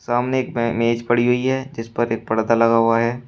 सामने एक म मेज पड़ी हुई है जिस पर एक पर्दा लगा हुआ है।